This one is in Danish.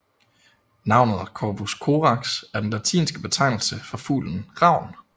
Navnet Corvus Corax er den latinske betegnelse for fuglen ravn